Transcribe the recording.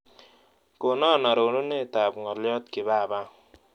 Konon arorunetap ng'olyot kipapa